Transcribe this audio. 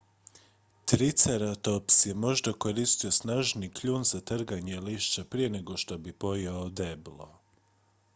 triceratops je možda koristio snažni kljun za trganje lišća prije nego što bi pojeo deblo